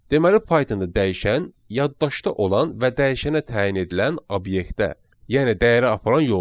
Deməli Pythonda dəyişən yaddaşda olan və dəyişənə təyin edilən obyektə, yəni dəyərə aparan yoldur.